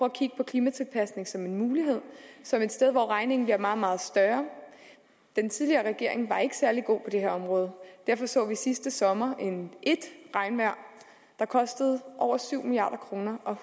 at kigge på klimatilpasning som en mulighed som et sted hvor regningen bliver meget meget større den tidligere regering var ikke særlig god på det her område derfor så vi sidste sommer et regnvejr der kostede over syv milliard kroner og